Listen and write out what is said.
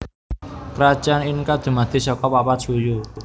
Krajan Inka dumadi saka papat suyu